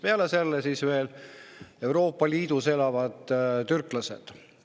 Peale selle on veel Euroopa Liidus elavad türklased.